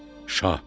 Şah!